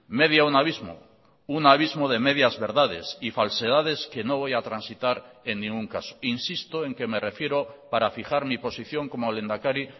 media un abismo un abismo de medias verdades y falsedades que no voy a transitar en ningún caso insisto en que me refiero para fijar mi posición como lehendakari